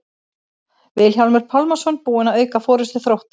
Vilhjálmur Pálmason búinn að auka forystu Þróttar.